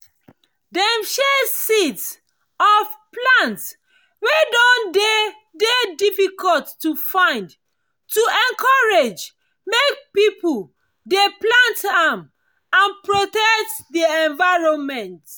dem share seeds of plants wey don dey dey difficult to find to encourage make people dey plant am and protect the environment